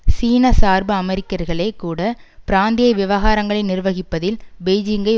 சீனசார்பு அமெரிக்கர்களே கூட பிராந்திய விவகாரங்களை நிர்வகிப்பதில் பெய்ஜிங்கை